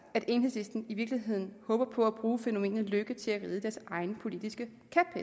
at enhedslisten i virkeligheden håber på at bruge fænomenet lykke til at ride deres egen politiske